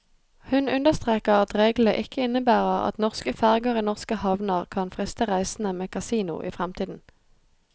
Hun understreker at reglene ikke innebærer at norske ferger i norske havner kan friste reisende med kasino i fremtiden.